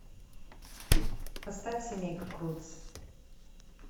поставь семейка крудс